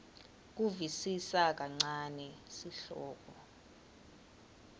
kusivisisa kancane sihloko